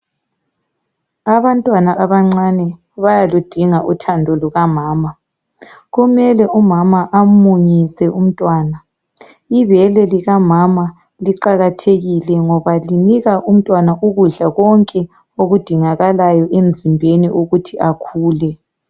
Abantwana abancane bayaludinga uthando lukamama , kumele umama amunyise umntwana. Ibele limama liqakathekile ngoba linika umntwana ukudla konke okudingakalayo emzimbeni.